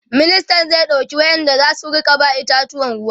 ministan zai ɗauki wayanda zasu Rika ba itatuwan ruwa